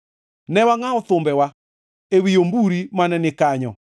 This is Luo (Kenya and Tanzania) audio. Ne wangʼawo thumbewa ewi omburi mane ni kanyo,